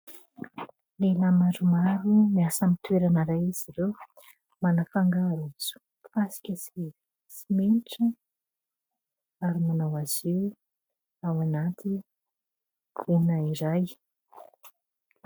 Lehilahy maromaro miasa amin'ny toerana iray izy ireo, manafangaro fasika sy simenitra ary manao azy io ao anaty gona iray.